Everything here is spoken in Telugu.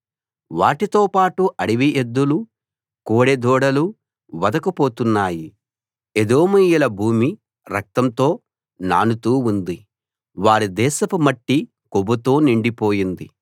వాటితోపాటు అడవి ఎద్దులు కోడె దూడలు వధకు పోతున్నాయి ఎదోమీయుల భూమి రక్తంతో నానుతూ ఉంది వారి దేశపు మట్టి కొవ్వుతో నిండిపోయింది